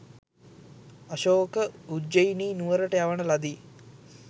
අශෝක උජ්ජෙයිනි නුවරට යවන ලදී.